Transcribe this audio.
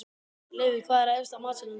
Leifur, hvað er efst á matseðlinum þar?